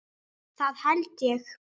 Það held ég